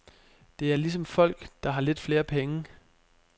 Det er ligesom folk, der har lidt flere penge.